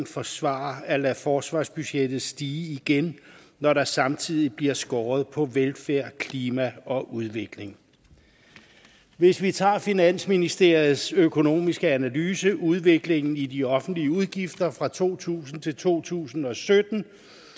forsvare at lade forsvarsbudgettet stige igen når der samtidig bliver skåret på velfærd klima og udvikling hvis vi tager finansministeriets økonomiske analyse af udviklingen i de offentlige udgifter fra to tusind til to tusind og sytten